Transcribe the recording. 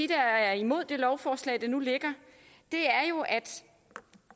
der er imod det lovforslag der nu ligger er jo at